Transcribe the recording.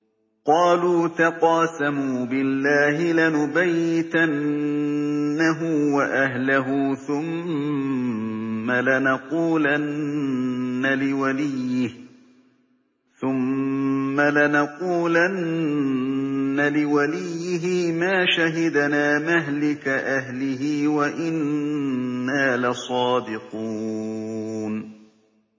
قَالُوا تَقَاسَمُوا بِاللَّهِ لَنُبَيِّتَنَّهُ وَأَهْلَهُ ثُمَّ لَنَقُولَنَّ لِوَلِيِّهِ مَا شَهِدْنَا مَهْلِكَ أَهْلِهِ وَإِنَّا لَصَادِقُونَ